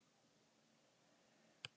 Þyrla sótti konu á Rif